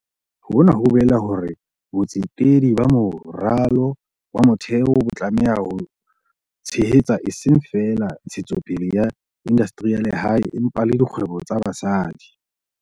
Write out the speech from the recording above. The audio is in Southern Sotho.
Hona ho bolela hore botsetedi ba moralo wa motheo bo tlameha ho tshehetsa eseng feela ntshetsopele ya indastri ya lehae, empa le dikgwebo tsa basadi.